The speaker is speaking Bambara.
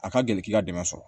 A ka gɛlɛn k'i ka dɛmɛ sɔrɔ